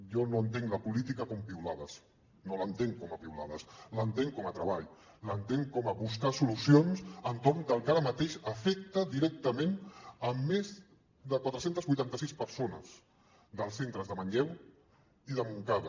jo no entenc la política com a piulades no l’entenc com a piulades l’entenc com a treball l’entenc com a buscar solucions entorn del que ara mateix afecta directament més de quatre cents i vuitanta sis persones dels centres de manlleu i de montcada